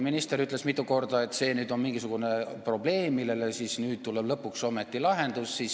Minister ütles mitu korda, et see on mingisugune probleem, millele siis nüüd tuleb lõpuks ometi lahendus.